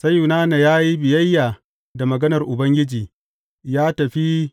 Sai Yunana ya yi biyayya da maganar Ubangiji, ya tafi Ninebe.